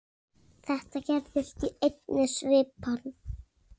Þetta gerðist í einni svipan.